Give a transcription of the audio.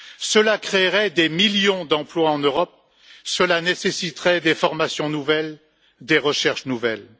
Cela créerait des millions d'emplois en Europe, cela nécessiterait des formations nouvelles, des recherches nouvelles.